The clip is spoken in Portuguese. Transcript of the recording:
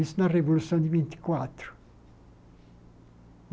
Isso na Revolução de vinte e quatro.